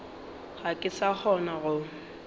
ga ke sa kgona go